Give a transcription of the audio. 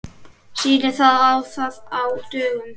Sýnir það að á dögum